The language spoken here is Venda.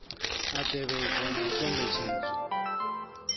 a tevhedzwa na u kombetshedzwa